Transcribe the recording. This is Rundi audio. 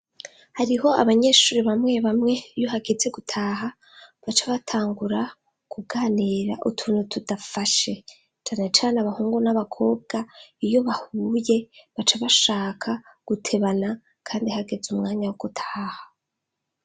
Hariho abanyeshuri bamwe bamwe iyo hageze gutaha, baca batangura kuganira utunu tudafashe, canecane abahungu n'abakobwa iyo bahuye, baca bashaka gutebana, kandi hageze umwanya wo gutaha.